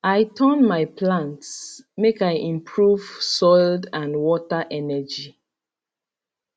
i turn my plants make i improve soild and water energy